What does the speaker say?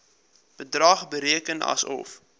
bedrag bereken asof